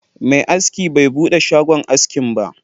Mai askin bai buɗe shagon askin ba